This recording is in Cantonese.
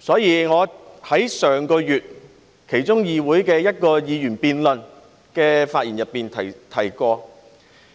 所以，本月初我在議會其中一項議員議案辯論的發言中提到，